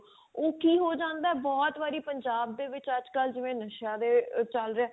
ਉਹ ਕੀ ਹੋ ਜਾਂਦਾ ਬਹੁਤ ਵਾਰੀ ਪੰਜਾਬ ਦੇ ਵਿੱਚ ਅੱਜ ਕਲ ਜਿਵੇਂ ਨਸ਼ਿਆਂ ਦੇ ਚੱਲ ਰਿਹਾ